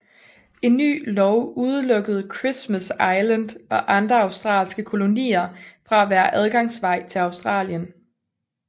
En ny lov udelukkede Christmas Island og andre andre australske kolonier fra at være adgangsvej til Australien